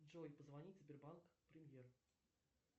джой позвонить сбербанк премьер